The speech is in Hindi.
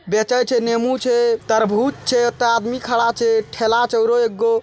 बेचे छै निमू छै तरबूज छै त आदमी खड़ा छै ठेला छै औरो एगो --